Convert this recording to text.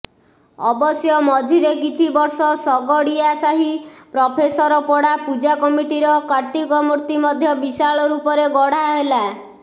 ଅବଶ୍ୟ ମଝିରେ କିଛି ବର୍ଷ ଶଗଡିଆସାହି ପ୍ରଫେସରପଡା ପୂଜାକମିଟିର କାର୍ତ୍ତିକ ମୂର୍ତ୍ତି ମଧ୍ୟ ବିଶାଳ ରୂପରେ ଗଢା ହେଲା